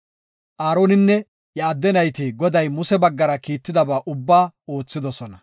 Aaroninne iya adde nayti Goday Muse baggara kiittidaba ubbaa oothidosona.